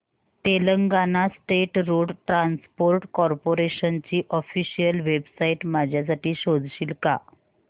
Telangana state road transport corporation ची official website माझ्यासाठी शोधशील का